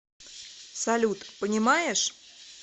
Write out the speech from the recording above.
салют понимаешь